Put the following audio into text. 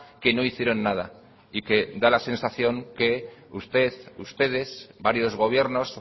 que no hicieron nada y que da la sensación que usted ustedes varios gobiernos